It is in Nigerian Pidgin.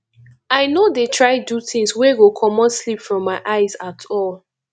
i no dey try do tins wey go comot sleep from my eyes at all